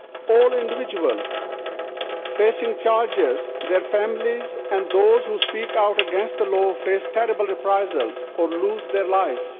All individuals facing charges, their families and those who speak out against the law face terrible reprisals or lose their lives.